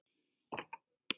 Má ég kannski fá tvö?